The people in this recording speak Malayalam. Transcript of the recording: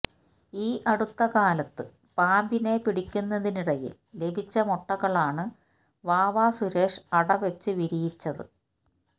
ഈ അടുത്തകാലത്ത് പാമ്പിനെ പിടിക്കുന്നതിനിടയിൽ ലഭിച്ച മുട്ടകളാണ് വാവസുരേഷ് അടവച്ചു വിരിയിച്ചത്